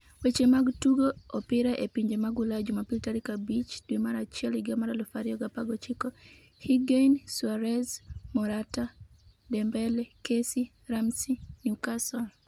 Weche mag Tugo Opira e Pinje mag Ulaya Jumapil tarik 05.01.2019: Higuain, Suarez, Morata, Dembele, Kessie, Ramsey, Newcastle